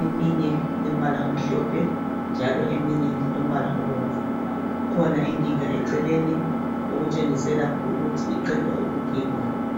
eminye ilombala omhlophe njalo eminye ilombala obomvu. Kukhona ingiga eceleni okutshengisela ukuthi iqedwa ukugigwa.